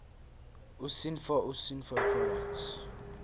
usinfo usinfo products